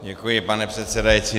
Děkuji, pane předsedající.